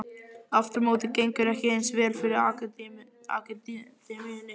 Aftur á móti gengur ekki eins vel fyrir akademíunni.